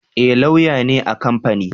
Ni lauya ne a kamfani